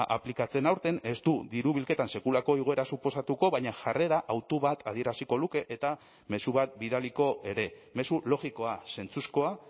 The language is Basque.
aplikatzen aurten ez du diru bilketan sekulako igoera suposatuko baina jarrera hautu bat adieraziko luke eta mezu bat bidaliko ere mezu logikoa zentzuzkoa